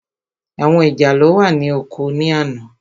Àwọn ìjàlọ́ wà ní oko ní àná.